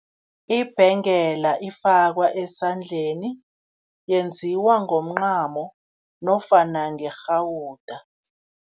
Ibhengela ifakwa esandleni, yenziwa ngomncamo nofana ngerhawuda.